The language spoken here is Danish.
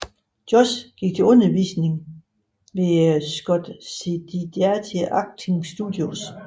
Josh gik til undervisning hos Scott Sedita Acting Studios